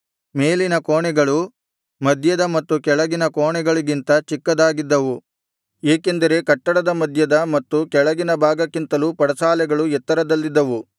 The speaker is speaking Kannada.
ಮೇಲಿನ ಕೋಣೆಗಳು ಮಧ್ಯದ ಮತ್ತು ಕೆಳಗಿನ ಕೋಣೆಗಳಿಗಿಂತ ಚಿಕ್ಕದಾಗಿದ್ದವು ಏಕೆಂದರೆ ಕಟ್ಟಡದ ಮಧ್ಯದ ಮತ್ತು ಕೆಳಗಿನ ಭಾಗಕ್ಕಿಂತಲೂ ಪಡಸಾಲೆಗಳು ಎತ್ತರದಲ್ಲಿದ್ದವು